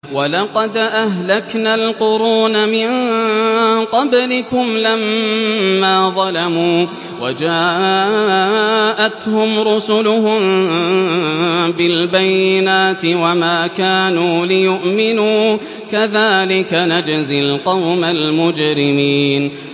وَلَقَدْ أَهْلَكْنَا الْقُرُونَ مِن قَبْلِكُمْ لَمَّا ظَلَمُوا ۙ وَجَاءَتْهُمْ رُسُلُهُم بِالْبَيِّنَاتِ وَمَا كَانُوا لِيُؤْمِنُوا ۚ كَذَٰلِكَ نَجْزِي الْقَوْمَ الْمُجْرِمِينَ